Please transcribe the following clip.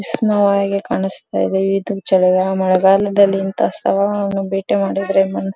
ಇಸ್ನೋ ಆಗೆ ಕಾಣಿಸ್ತಾಯ್ದೆ ಈದನ್ ಚಳಿಗಾಲ್ ಮಳೆಗಾಲದಲ್ಲಿ ಇಂತ ಸ್ಥಳಗಳನ್ನು ಭೇಟಿ ಮಾಡಿದ್ರೆ ಮನ್ಸ್ --